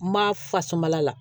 Ma fasumala la